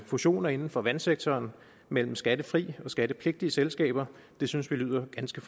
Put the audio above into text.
fusioner inden for vandsektoren mellem skattefrie og skattepligtige selskaber synes vi lyder ganske